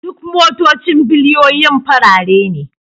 Duk motocin biliyoyin farare ne